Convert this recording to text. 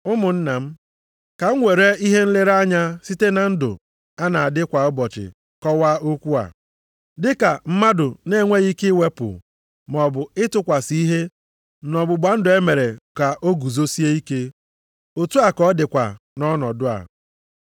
Ụmụnna m, ka m were ihe nlere anya site na ndụ a na-adị kwa ụbọchị kọwaa okwu a: Dị ka mmadụ na-enweghị ike iwepụ maọbụ ịtụkwasị ihe nʼọgbụgba ndụ e mere ka o guzosie ike, otu a ka ọ dịkwa nʼọnọdụ a.